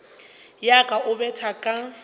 ya ka e betha ka